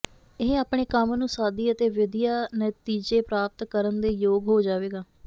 ਇਹ ਆਪਣੇ ਕੰਮ ਨੂੰ ਸਾਦੀ ਅਤੇ ਵਧੀਆ ਨਤੀਜੇ ਪ੍ਰਾਪਤ ਕਰਨ ਦੇ ਯੋਗ ਹੋ ਜਾਵੇਗਾ